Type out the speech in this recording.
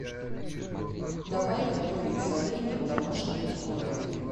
давай готовить соленье в домашних условиях